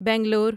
Bangalore